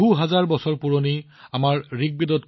হাজাৰ হাজাৰ বছৰ পুৰণি আমাৰ ঋগবেদ